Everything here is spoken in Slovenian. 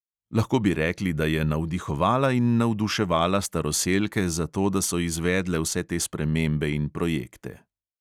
Lahko bi rekli, da je navdihovala in navduševala staroselke za to, da so izvedle vse te spremembe in projekte.